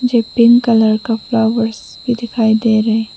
एक pink colour का flowers भी दिखाई दे रहे --